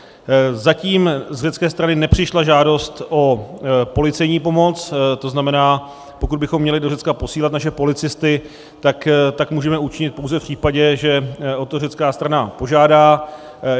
Zatím z řecké strany nepřišla žádost o policejní pomoc, to znamená, pokud bychom měli do Řecka posílat naše policisty, můžeme tak učinit pouze v případě, že o to řecká strana požádá.